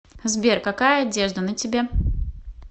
сбер какая одежда на тебе